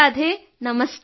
Radhe Radhe